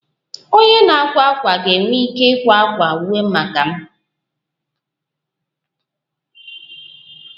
Onye na-akwa akwa m ga-enwe ike ịkwa akwa uwe maka m